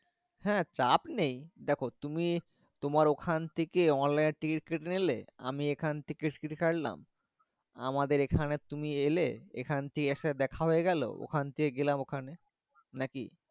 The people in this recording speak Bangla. হ্যাঁ চাপ নেই দ্যাখো তুমি তোমার ওখান থাকে Online ticket কেটে নিলে আমি এখন থাকে ছাড়লাম আমাদের এখানে তুমি এলে এখন থাকে এসে দেখা হয়ে গেল ওখান থেকে গেলাম ওখানে নাকি।